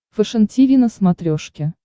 фэшен тиви на смотрешке